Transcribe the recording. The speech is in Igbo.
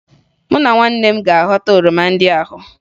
Mụ na ụmụnne m ga-aghọta oroma ndị ahụ